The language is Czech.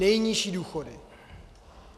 Nejnižší důchody.